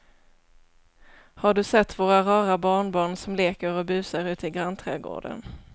Har du sett våra rara barnbarn som leker och busar ute i grannträdgården!